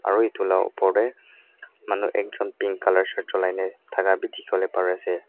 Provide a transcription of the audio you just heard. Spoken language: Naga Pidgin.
aru etu la oper te manu ekjon Pink colour shirt chulai ne thaka bi dikhi wole pari ase.